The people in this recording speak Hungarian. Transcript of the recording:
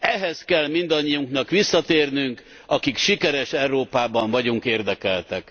Ehhez kell mindannyiunknak visszatérnünk, akik sikeres Európában vagyunk érdekeltek.